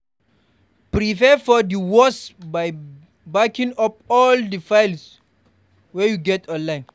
prepare for di worse by backing up all di files wey you get online